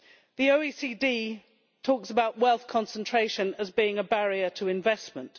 The OECD talks about wealth concentration as being a barrier to investment.